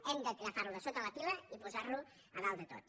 hem d’agafar lo de sota la pila i posar lo a dalt de tot